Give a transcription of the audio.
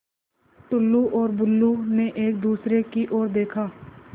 टुल्लु और बुल्लु ने एक दूसरे की ओर देखा